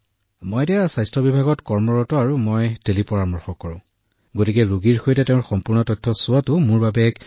কিয়নো মই বৰ্তমান স্বাস্থ্য বিভাগত আছোঁ আৰু একে সময়তে টেলিপৰামৰ্শ কৰোঁ ফাইলটোৰ সৈতে ৰোগীক দেখাটো মোৰ বাবে এক অতি ভাল মনোৰম অভিজ্ঞতা